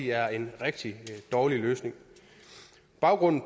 er en rigtig dårlig løsning baggrunden